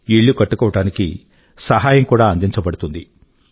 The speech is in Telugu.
ఇళ్ళు కట్టుకోవడానికి సహాయం కూడా అందించబడుతుంది